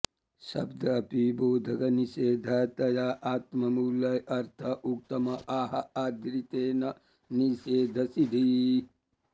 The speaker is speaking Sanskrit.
शब्दः अपि बोधकनिषेधतया आत्ममूलम् अर्थ उक्तम् आह यदृते न निषेधसिद्धिः